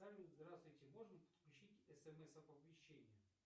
салют здравствуйте можно подключить смс оповещение